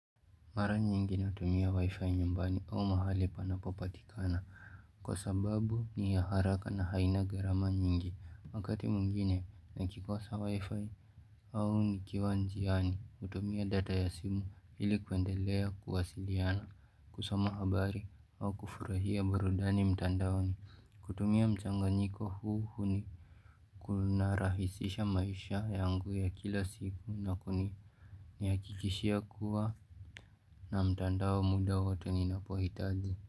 Mara nyingi natumia wi-fi nyumbani au mahali panapopatikana kwa sababu ni ya haraka na haina gharama nyingi. Wakati mwingine nikikosa wi-fi au nikiwa njiani hutumia data ya simu ili kuendelea kuwasiliana, kusoma habari au kufurahia burudani mtandaoni kutumia mchanganyiko huu Kunarahisisha maisha yangu ya kila siku na Nihakikishia kuwa na mtandao muda wote ninapohitaji.